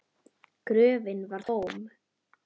Gröfin var tóm!